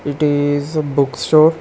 It is a book store.